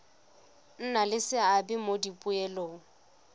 nna le seabe mo dipoelong